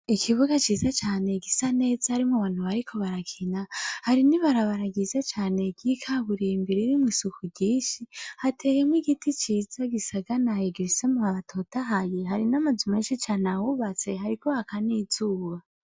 Ikibuga ciza cane gisa neza harimwo abantu bariko barakina hari n'ibarabara ryiza cane ry'ikaburimbi riri imbere ririmwo isuku ryishi hateyemwo igiti ciza gisaganaye gifise amababi atotahaye hari n'amazu menshi cane ahubatse, hariko haka n'izuba.